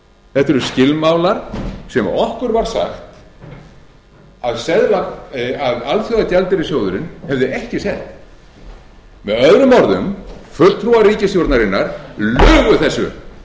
þetta eru skilmálar sem okkur var sagt að alþjóðagjaldeyrissjóðurinn hefði ekki sett með öðrum orðum fulltrúar ríkisstjórnarinnar lugu